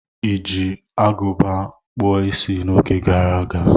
Ị ejiri agụba kpuo Ịsị n'oge gara aga?